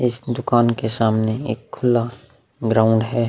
इस दुकान के सामने एक खुला ग्राउंड है।